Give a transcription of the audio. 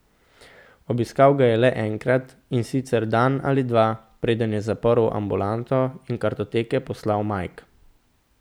Obiskal ga je le enkrat, in sicer dan ali dva, preden je zaprl ambulanto in kartoteke poslal Mike.